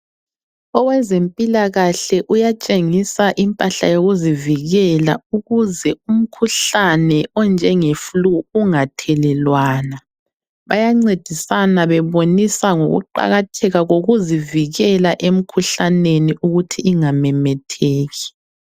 Owezempilakahle uyatshengisa impahla yokuzivikela ukuze umkhuhlane onjenge flue ungathelelwana. Bayancedisana bebonisa ngokuqakatheka kokuzivikela emkhuhlaneni ukuthi ingamemetheki.